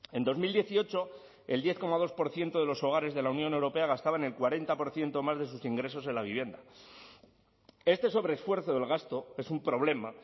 en dos mil dieciocho el diez coma dos por ciento de los hogares de la unión europea gastaban el cuarenta por ciento más de sus ingresos en la vivienda esté sobreesfuerzo del gasto es un problema